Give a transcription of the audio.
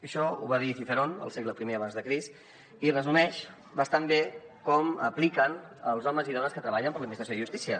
això ho va dir cicerón al segle isumeix bastant bé com apliquen els homes i dones que treballen per l’administració de justícia